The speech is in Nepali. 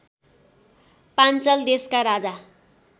पाञ्चल देशका राजा